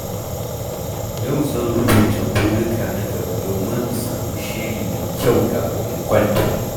Yau zan rubuta burika na gaba domin in sami shiri mai kyau kafin in kwanta.